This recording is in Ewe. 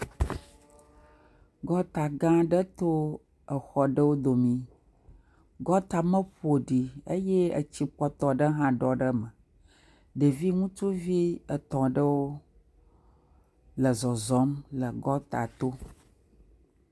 Gɔta aɖewo to exɔ ɖewo domi. Gɔta me ƒoɖi eye etsi kpɔtɔ ɖe hã ɖɔ ɖe eme. Ɖevi ŋutsuvi etɔ aɖewo le zɔzɔm le gɔta tɔ.